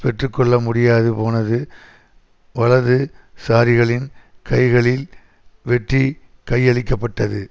பெற்று கொள்ள முடியாது போனது வலது சாரிகளின் கைகளில் வெற்றி கையளிக்க பட்டது